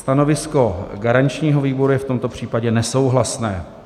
Stanovisko garančního výboru je v tomto případě nesouhlasné.